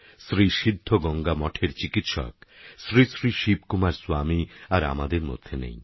শ্রী সিদ্ধ গঙ্গা মঠের চিকিৎসক শ্রী শ্রী শিবকুমার স্বামী আর আমাদের মধ্যে নেই